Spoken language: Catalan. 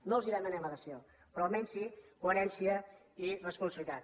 no els demanem adhesió però almenys sí coherència i responsabilitat